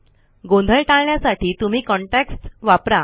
गोंधळ टाळण्यासाठी तुम्ही कॉन्टेक्स्ट्स वापरा